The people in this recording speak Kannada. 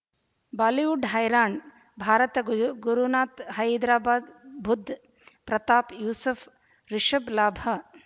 ಬಾಲಿವುಡ್ ಹೈರಾಣ್ ಭಾರತ ಗುಜು ಗುರುನಾಥ ಹೈದರಾಬಾದ್ ಬುಧ್ ಪ್ರತಾಪ್ ಯೂಸುಫ್ ರಿಷಬ್ ಲಾಭ